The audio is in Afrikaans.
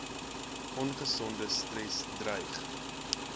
ongesonde stres dreig